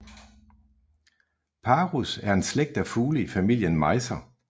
Parus er en slægt af fugle i familien mejser